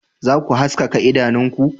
Za ku haskaka idanunku